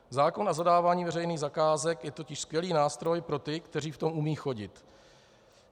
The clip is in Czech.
Zákon o zadávání veřejných zakázek je totiž skvělý nástroj pro ty, kteří v tom umí chodit.